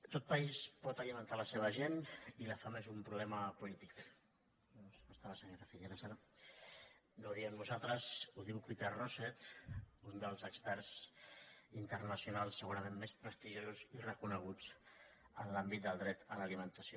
tot país pot alimentar la seva gent i la fam és un pro·blema polític no hi ha la senyora figueras ara no ho diem nosaltres ho diu peter rosset un dels experts internacionals segurament més prestigiosos i recone·guts en l’àmbit del dret a l’alimentació